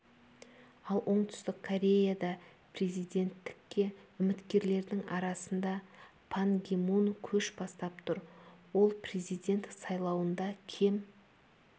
ал оңтүстік кореяда президенттікке үміткерлердің арасында пан ги мун көш бастап тұр ол президент сайлауында кем